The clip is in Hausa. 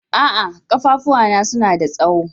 A'a, kafafua na suna da tsawo.